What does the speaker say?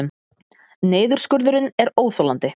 Niðurskurðurinn er óþolandi